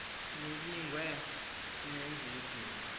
nibingiwe sinenz idini